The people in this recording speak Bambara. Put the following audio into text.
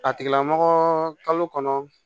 A tigilamɔgɔ kalo kɔnɔ